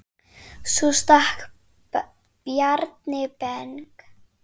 Svo stakk Bjarni Ben.